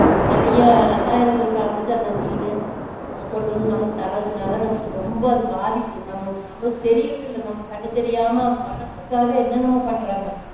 நிறைய இரசாயனங்கள் கலந்துட்டு அந்த மீனு கொண்டு வந்து நமக்கு தர்றதுனால நமக்கு ரொம்ப அது பாதிப்பு நமக்கு நம்மளுக்கு தெரியுறது இல்ல நம்ம கண்ணு தெரியாம பணத்துக்காக என்ன என்னமோ பண்ணுறாங்க